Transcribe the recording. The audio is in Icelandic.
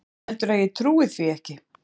Heldurðu að ég trúi því ekki?